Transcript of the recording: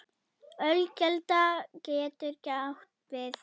Ölkelda getur átt við